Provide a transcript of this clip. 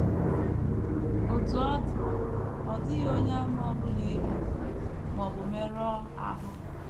Otú ọ dị, ọ dịghị Onyeàmà ọ bụla e gburu ma ọ bụ merụọ ahụ.